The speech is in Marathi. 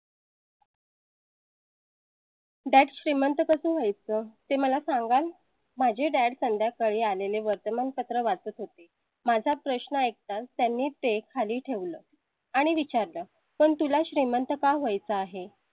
dad श्रीमंत कसं जाय चं ते मला सांगाल माझे dad संध्याकाळी आलेले वर्तमानपत्र वाचत होते. माझा प्रश्न ऐकताच त्यांनी ते खाली ठेवलं आणि विचारलं, पण तुला श्रीमंत व्हाय चं आहे.